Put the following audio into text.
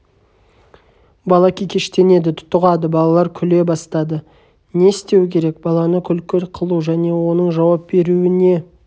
бала кекештенеді тұтығады балалар күле бастады не істеу керек баланы күлкі қылу және оның жауап беруіне